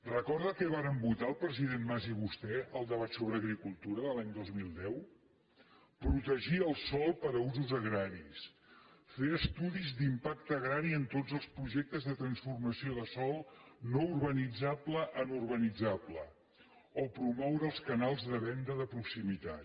recorda què varen votar el president mas i vostè al debat sobre agricultura de l’any dos mil deu protegir el sòl per a usos agraris fer estudis d’impacte agrari en tots els projectes de transformació de sòl no urbanitzable en urbanitzable o promoure els canals de venda de proximitat